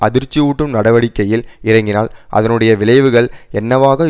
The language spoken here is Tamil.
அதிர்ச்சியூட்டும் நடவடிக்கையில் இறங்கினால் அதனுடைய விளைவுகள் என்னவாக